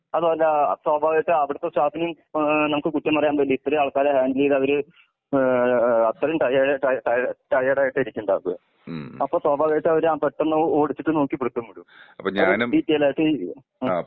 അതുമല്ല സ്വാഭാവികമായിട്ടും അവിടുത്തെ സ്റ്റാഫിനെ ഏഹ് നമുക്ക് കുറ്റം പറയാൻ പറ്റില്ല ഇത്രേം ആൾക്കാരെ ഹാൻഡിൽയിത് അവര് ഏഹ് അത്രേം ട്ടയേർ ട്ടയേർഡ് ആയിട്ട് ഇരിക്കിണ്ടാവ. അപ്പോ സ്വാഭാവികമായിട്ടും അവരെ പെട്ടന്ന് ഓടിച്ച് നോക്കി പിടുത്തം വിടും. അവര് ഡീറ്റെയില്‍ ആയിട്ട്